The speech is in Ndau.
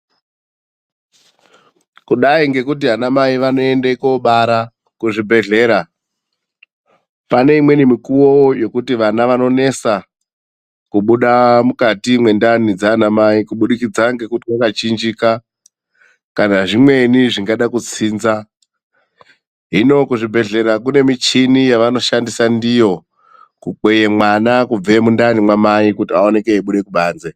Kudai ngekuti anamai vanoende kobara kuzvibhedhlera, pane imweni mikuwo yekuti vana vanonesa kubuda mukati mwendani dzaanaamai kubudikidza ngekuti wakachinjika kana zvimweni zvingada kutsinza. Hino kuzvibhedhlera kune michini yavanoshandisa ndiyo kukweye mwana kubve mundani mamai kuti awanikwe eibude kubanze.